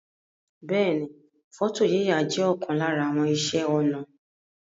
Beeni, foto yiya je okan lara àwon ise onà